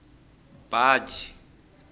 baji